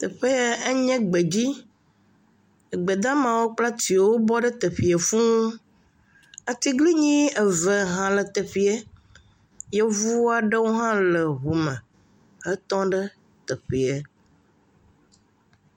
Teƒe yɛe nye gbedzi. Egbedamawo kple atiwo bɔ ɖe teƒeɛ fũuu. Atiglinyi eve hã le teƒeɛ. Yevu aɖewo hã le ŋume etɔŋ ɖe teƒeɛ.